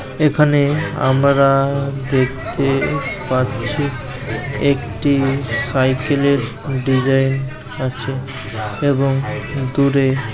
এখানে আমরা দেখতে পাচ্ছি একটি সাইকেল এর ডিজাইন আছে এবং দূরে--